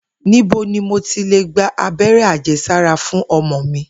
Níbo ni mo ti lè gba abé̩ré̩ àje̩sára fún o̩mo̩ mi?